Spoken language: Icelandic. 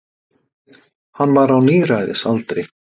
Hann var á níræðisaldri.